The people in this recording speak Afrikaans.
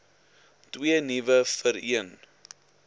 twee nuwe vereen